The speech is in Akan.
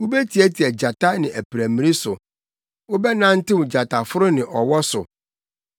Awurade ka se, “Esiane sɛ ɔdɔ me nti, megye no; mɛbɔ ne ho ban, efisɛ ogye me din to mu.